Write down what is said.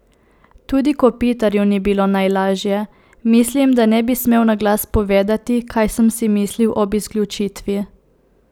Tudi Kopitarju ni bilo najlažje: "Mislim, da ne bi smel na glas povedati, kaj sem si mislil ob izključitvi.